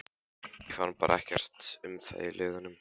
Ég fann bara ekkert um það í lögunum.